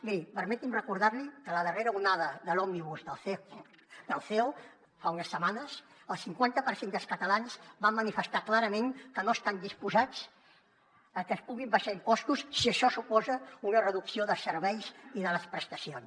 miri permeti’m recordar li que a la darrera onada de l’setmanes el cinquanta per cent dels catalans van manifestar clarament que no estan disposats a que es puguin abaixar impostos si això suposa una reducció de serveis i de les prestacions